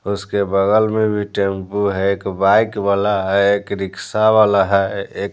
उसके बगल में भी टैंपू है एक बाइक वाला है एक रिक्शा वाला है एक --